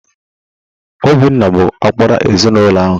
Obinna bụ ọkpara ezinụlọ ahụ.